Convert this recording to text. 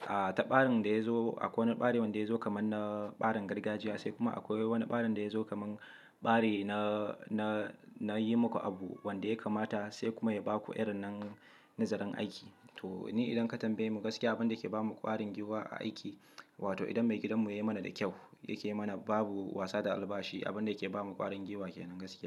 a taɓarin da ya zo akwai wani ɓari wanda ya zo kaman na ɓarin gargajiya sai kuma akwai wani ɓarin da ya zo kaman ɓari na, na, na yi maka abu wanda ya kamata sai kuma ya baku irin nan nazarin aiki. To ni idan ka tambaye mu gaskiya abin da yake bamu ƙwarin giwa a aiki, wato idan maigidan mu ya yi mana da kyau, yake mana babu wasa da albashi, abin da yake bamu ƙwarin giwa kenan gaskiya.